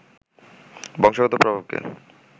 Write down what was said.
বংশগত প্রভাবকে